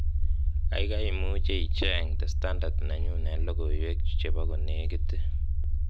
gaigai imuche icheng' the standard nenyun en logoiwek chebo konegit ii